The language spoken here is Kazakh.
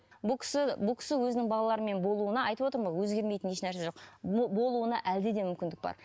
бұл кісі өзінің балаларымен болуына айтып отырмын ғой өзгермейтін ешнәрсе жоқ болуына әлі де мүмкіндік бар